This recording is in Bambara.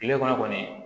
Kile kɔnɔ kɔni